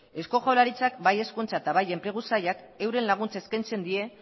eusko jaurlaritzak bai hezkuntza eta bai enplegu sailak euren laguntza eskaintzen die